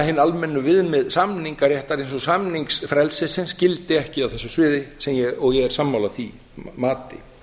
hin almennu viðmið samningsréttar eins og samningsfrelsisins gildi ekki á þessu sviði og ég er sammála því mati